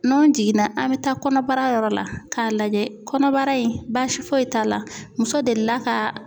N'an jiginna an bɛ taa kɔnɔbara yɔrɔ la k'a lajɛ kɔnɔbara in baasi foyi t'a la muso delila ka